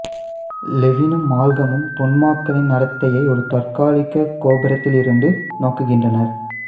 லெவினும் மால்கம்மும் தொன்மாக்களின் நடத்தையை ஒரு தற்காலிகக் கோபுரத்திலிருந்து நோக்குகின்றனர்